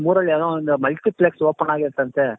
ಊರಲ್ಲಿ ಯಾವುದೋ ಒಂದು multiplex open ಆಗೈತಂತೆ.